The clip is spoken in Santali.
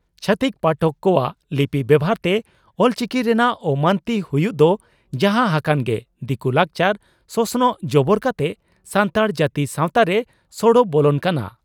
ᱪᱷᱟᱛᱤᱠ ᱯᱟᱴᱚᱠ ᱠᱚᱣᱟᱜ ᱞᱤᱯᱤ ᱵᱮᱵᱷᱟᱨᱛᱮ ᱚᱞᱪᱤᱠᱤ ᱨᱮᱱᱟᱜ ᱚᱢᱟᱱᱚᱛᱤ ᱦᱩᱭᱩᱜ ᱫᱚ ᱡᱟᱦᱟᱸ ᱦᱟᱠᱟᱱ ᱜᱮ ᱫᱤᱠᱩ ᱞᱟᱠᱪᱟᱨ/ᱥᱚᱥᱚᱱᱚᱜ ᱡᱚᱵᱚᱨ ᱠᱟᱛᱮ ᱥᱟᱱᱛᱟᱲ ᱡᱟᱹᱛᱤ ᱥᱟᱣᱛᱟᱨᱮ ᱥᱚᱲᱚ ᱵᱚᱞᱚᱱ ᱠᱟᱱᱟ ᱾